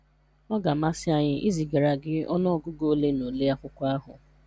Ọ ga amasi anyị izigara gị ọnụ ọgụgụ ole na ole akwụkwọ ahụ